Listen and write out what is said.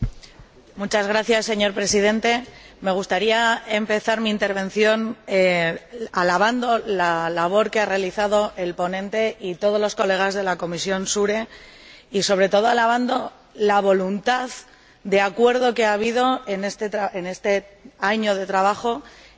Señor Presidente, me gustaría empezar mi intervención alabando la labor que han realizado el ponente y todos los colegas de la Comisión SURE y, sobre todo, alabando la voluntad de acuerdo que ha habido en este año de trabajo para conseguir